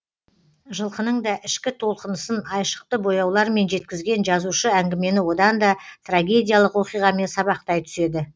жылқының да ішкі толқынысын айшықты бояулармен жеткізген жазушы әңгімені одан да трагедиялық оқиғамен сабақтай түседі